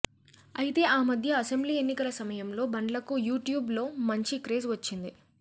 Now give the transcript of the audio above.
అయితే ఆ మధ్య అసెంబ్లీ ఎన్నికల సమయంలో బండ్లకు యూట్యూబ్ లో మాంచి క్రేజ్ వచ్చింది